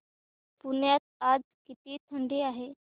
पुण्यात आज किती थंडी आहे